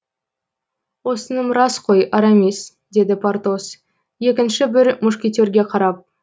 осыным рас қой арамис деді портос екінші бір мушкетерге қарап